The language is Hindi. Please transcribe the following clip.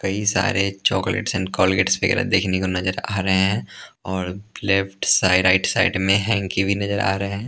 कई सारे चॉकलेट्स एंड कॉलगेट्स वगैरह देखने को नजर आ रहे हैं और लेफ्ट साइड राइट साइड में हेंकी भी नजर आ रहे हैं ।